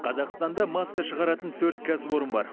қазақстанда маска шығаратын төрт кәсіпорын бар